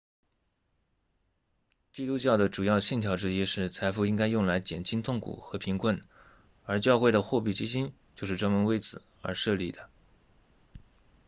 基督教的主要信条之一是财富应该用来减轻痛苦和贫困而教会的货币基金就是专门为此而设立的